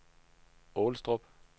Aalestrup